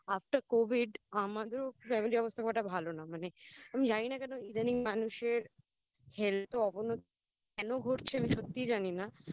After covid আমাদেরও Family র অবস্থা খুব একটা ভালো না মানে আমি জানি না কেন ইদানিং মানুষের Health এর অবনতি কেন ঘটছে আমি সত্যিই জানি না